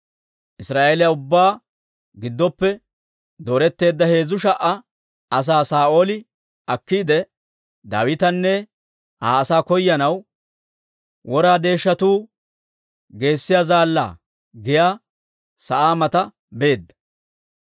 Israa'eeliyaa ubbaa giddoppe dooretteedda heezzu sha"a asaa Saa'ooli akkiide, Daawitanne Aa asaa koyanaw, «Wora Deeshshatuu Geessiyaa Zaallaa» giyaa sa'aa mata beedda.